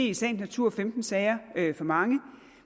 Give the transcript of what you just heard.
i sagens natur femten sager for mange